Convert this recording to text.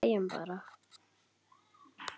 Hlæjum bara.